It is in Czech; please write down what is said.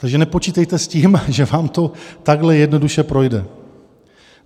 Takže nepočítejte s tím, že vám to takhle jednoduše projde.